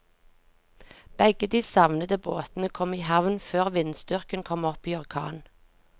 Begge de savnede båtene kom i havn før vindstyrken kom opp i orkan.